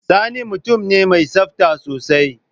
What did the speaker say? Sani mutum ne mai tsafta sosai.